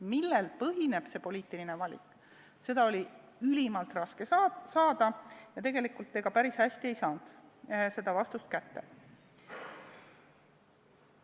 Millel põhineb see poliitiline valik, seda vastust oli ülimalt raske saada ja tegelikult ega seda päris ei saanudki kätte.